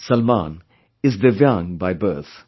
Salman is divyang by birth